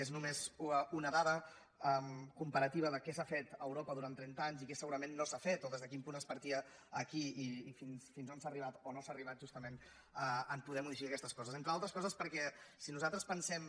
és només una dada comparativa del que s’ha fet a europa durant trenta anys i què segurament no s’ha fet o des de quin punt es partia aquí i fins on s’ha arribat o no s’ha arribat justament a poder modificar d’aquestes coses entre altres coses perquè si nosaltres pensem